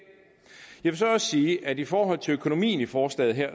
jeg vil så også sige at i forhold til økonomien i forslaget her